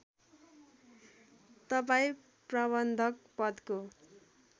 तपाईँ प्रबन्धक पदको